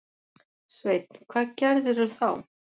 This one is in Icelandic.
Sveinn: Hvað gerirðu þá?